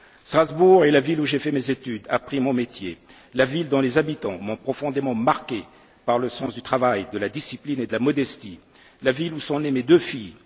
Strasbourg est la ville où j'ai fait mes études, appris mon métier, la ville dont les habitants m'ont profondément marqué, par leur sens du travail, de la discipline et de la modestie, la ville où sont nées mes deux